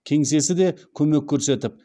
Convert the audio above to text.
кеңсесі де көмек көрсетіп